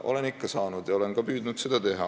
Olen ikka saanud ja olen ka püüdnud seda teha.